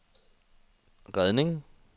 redning